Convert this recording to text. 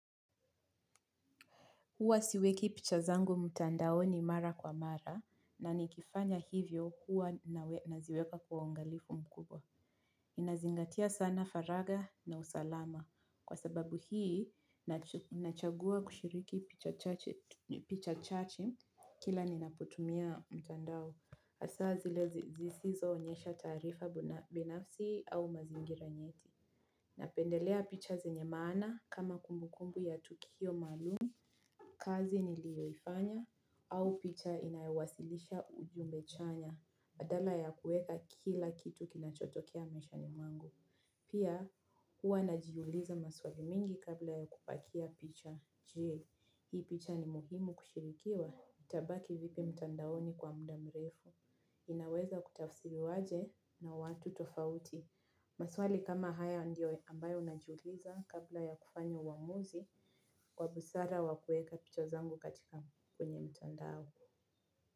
Huwa siweki pichazangu mtandaoni mara kwa mara na nikifanya hivyo huwa naziweka kwa ongalifu mkubwa. Ninazingatia sana faraga na usalama kwa sababu hii nachagua kushiriki picha chache kila ninapotumia mtandao hasaa zile zisizoonyesha taarifa binafsi au mazingira nyeti. Napendelea picha zenye maana kama kumbukumbu ya tukio maalumu, kazi nilioifanya, au picha inaewasilisha ujumbe chanya badala ya kueka kila kitu kinachotokea maishani mwangu. Pia huwa najiuliza maswali mingi kabla ya kupakia picha je. Hii picha ni muhimu kushirikiwa tabaki vipi mtandaoni kwa muda mrefu. Inaweza kutafisiliwaje na watu tofauti. Maswali kama haya ndio ambayo najiuliza kabla ya kufanya uwamuzi. Kwa busara wa kueka picha zangu katika kwenye mtandao.